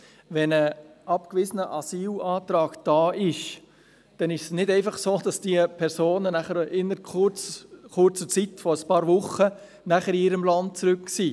Wenn ein abgewiesener Asylantrag vorliegt, ist es nicht einfach so, dass diese Personen innert der kurzen Zeit von einigen Wochen wieder in ihrem Herkunftsland sind.